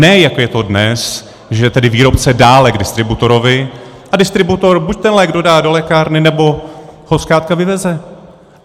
Ne jako je to dnes, že tedy výrobce dále k distributorovi a distributor buď ten lék dodá do lékárny, nebo ho zkrátka vyveze.